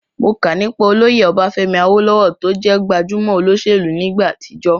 Mo kà nípa olóyè Ọbafẹ́mi Awólówọ̀ tó jẹ́ gbajúmọ̀ olóṣèlú ní ìgbà àtijọ́